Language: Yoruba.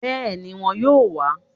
Béèni won yóò wá